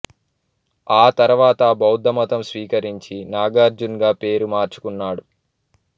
ఆ తర్వాత బౌద్ధమతం స్వీకరించి నాగార్జున్ గా పేరు మార్చుకున్నాడు